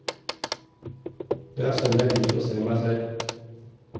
Det er sånn jeg liker å se meg selv.